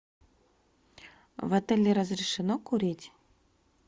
в отеле разрешено курить